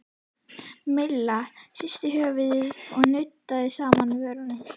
Milla hristi höfuðið og nuddaði saman vörunum.